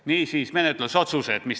Niisiis, meie menetlusotsused.